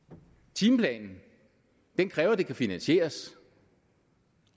timeplanen kræver at det kan finansieres